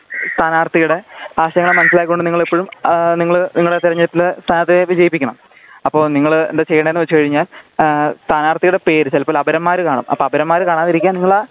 സ്ഥനാരത്തിയുടെ ആ ആശയങ്ങൾ മനസ്സിലാക്കി കൊണ്ട് നിങ്ങൾ എപ്പോഴും നിങ്ങള് നിങ്ങളെ തിരഞ്ഞെടുപ്പില് വിജയിപ്പിക്കണം. അപ്പോ നിങ്ങള് എന്താ ചെയ്യേണ്ടത് വച്ച്കഴിഞ്ഞാൽ സ്ഥനാർത്തിയുടെ പേര് ചിലപ്പോൾ അപരന്മാര് കാണും അപ്പോ അപരന്മാര് കാണാതിരിക്കാൻ നിങ്ങളാ